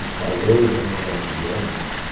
Os salões eram maravilhosos.